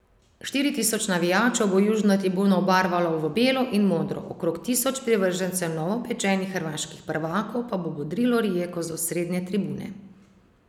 Štiri tisoč navijačev bo južno tribuno obarvalo v belo in modro, okrog tisoč privržencev novopečenih hrvaških prvakov pa bo bodrilo Rijeko z osrednje tribune.